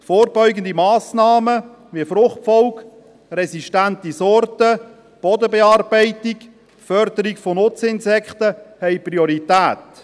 Vorbeugende Massnahmen, wie Fruchtfolge, resistente Sorten, Bodenbearbeitung, Förderung von Nutzinsekten, haben Priorität.